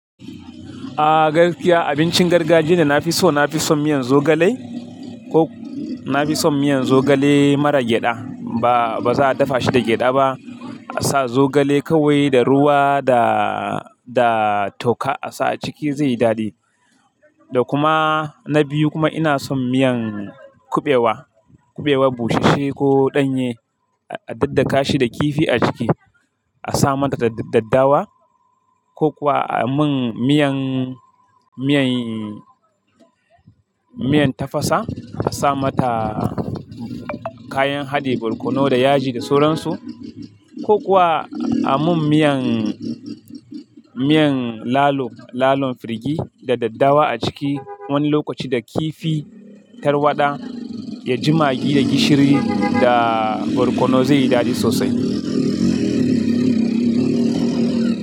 A gaskiya abincin gargajiya da na fi so, na fi son miyan zogale ko na fi son miyan zogale mara gyada. Ba, ba za a dafa shi da gyada ba. A sa zogale kawai da ruwa da, da toka a sa a ciki zai yi dadi. Da kuma na biyu kuma ina son miyan kuɓewa. Kuɓewa busasshe ko ɗanye a daddaka shi da kifi a ciki. A sa mata daddawa ko kuwa a mun miyan, miyan, miyan tafasa. A sa mata kayan haɗe barkono da yaji da sauransu ko kuwa a mun miyan, miyan lalo, lalon firgi da daddawa a ciki wani lokaci da kifi tarwaɗa, ya jimagi da gishiri da barkono zai yi dadi sosai.